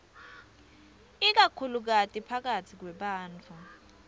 ikakhulukati phakatsi kwebantfu